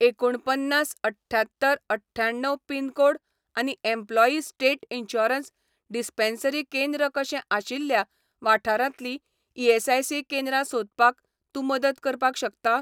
एकुणपन्नास अठ्ठ्यात्तर अठ्ठ्याण्णव पिनकोड आनी एम्प्लॉयी स्टेट इन्शुरन्स डिस्पेन्सरी केंद्र कशें आशिल्ल्या वाठारांतली ईएसआयसी केंद्रां सोदपाक तूं मदत करपाक शकता?